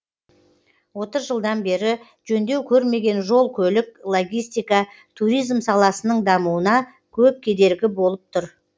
отыз жылдан бері жөндеу көрмеген жол көлік логистика туризм саласының дамуына көп кедергі болып тұр